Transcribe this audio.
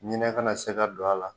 Ɲinɛ kana se ka don a la